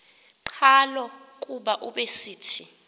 qhalo kuba ubesithi